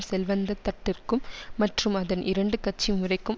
செல்வந்த தட்டிற்கும் மற்றும் அதன் இரண்டு கட்சி முறைக்கும்